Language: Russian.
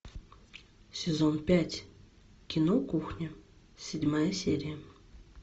сезон пять кино кухня седьмая серия